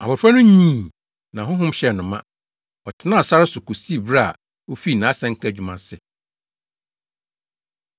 Abofra no nyinii na honhom hyɛɛ no ma; ɔtenaa sare so kosii bere a ofii nʼasɛnka adwuma ase.